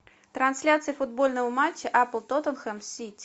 трансляция футбольного матча апл тоттенхэм сити